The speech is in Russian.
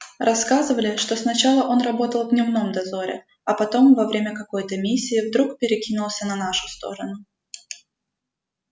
рассказывали что сначала он работал в дневном дозоре а потом во время какой-то миссии вдруг перекинулся на нашу сторону